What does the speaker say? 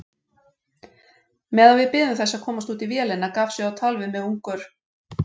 Meðan við biðum þess að komast útí vélina gaf sig á tal við mig ungur